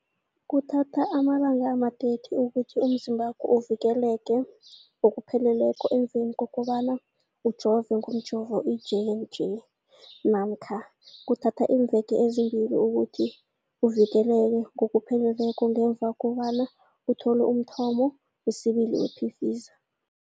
Kuthatha amalanga ama-30 ukuthi umzimbakho uvikeleke ngokupheleleko emveni kobana ujove ngomjovo i-J and J namkha kuthatha iimveke ezimbili ukuthi uvikeleke ngokupheleleko ngemva kobana uthole umthamo wesibili wePfizer.